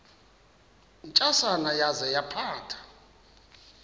ntsasana yaza yaphatha